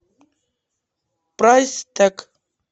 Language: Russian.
прайс тэг